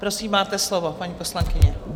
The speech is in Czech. Prosím, máte slovo, paní poslankyně.